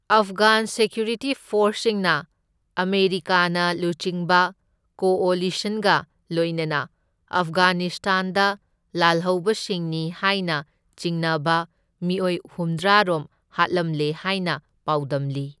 ꯑꯐꯒꯥꯟ security ꯐꯣꯔꯁꯁꯤꯡꯅ American ꯂꯨꯆꯤꯡꯕ ꯀꯣꯑꯣꯂꯤꯁꯟꯒ ꯂꯣꯏꯅꯅ ꯑꯐꯒꯥꯅꯤꯁꯇꯥꯟꯗ ꯂꯥꯜꯍꯧꯕꯁꯤꯡꯅꯤ ꯍꯥꯏꯅ ꯆꯤꯡꯅꯕ ꯃꯤꯑꯣꯏ ꯍꯨꯝꯗ꯭ꯔꯥ ꯔꯣꯝ ꯍꯥꯠꯂꯝꯂꯦ ꯍꯥꯏꯅ ꯄꯥꯎꯗꯝꯂꯤ꯫